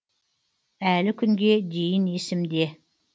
әлі күнге дейін есімде